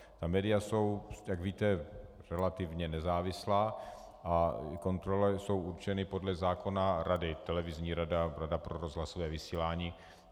Ta média jsou, jak víte, relativně nezávislá a kontrolou jsou určeny podle zákona rady - televizní rada, rada pro rozhlasové vysílání.